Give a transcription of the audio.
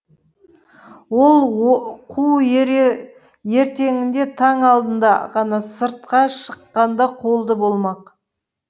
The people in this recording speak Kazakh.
ол қу ертеңінде таң алдында ғана сыртқа шыққанда қолды болмақ